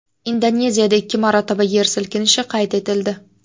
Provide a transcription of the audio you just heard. Indoneziyada ikki marotaba yer silkinishi qayd etildi.